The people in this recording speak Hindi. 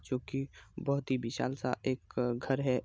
जोकि बोहोत ही विशाल सा एक घर है।